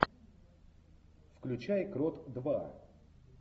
включай крот два